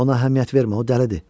Ona əhəmiyyət vermə, o dəlidir.